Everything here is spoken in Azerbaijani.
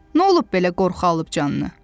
Nə olub belə qorxu alıb canını?